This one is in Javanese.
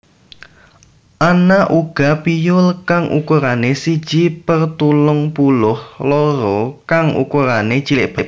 Ana uga piyul kang ukurané siji per telung puluh loro kang ukurané cilik banget